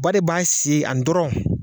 Ba de b'a sen a dɔrɔn